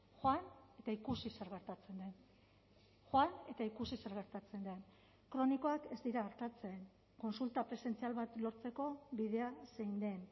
joan eta ikusi zer gertatzen den joan eta ikusi zer gertatzen den kronikoak ez dira artatzen kontsulta presentzial bat lortzeko bidea zein den